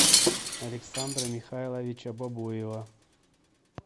александра михайловича бобоева